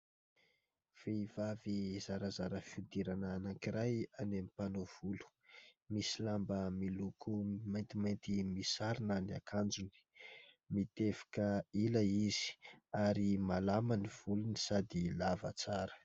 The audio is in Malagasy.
Vehivavy zarazara fihodirana anankiray any amin'ny mpanao volo ; misy lamba miloko maintimainty misarona ny akanjony ; mitevika ila izy, ary malama ny volony sady lava tsara.